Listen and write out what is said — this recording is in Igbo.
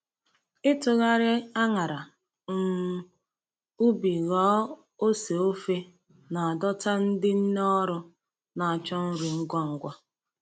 Ịtụgharị añara um ubi ghọọ ose ofe na-adọta ndị nne ọrụ na-achọ nri ngwa ngwa.